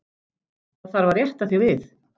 Það þarf að rétta þig við.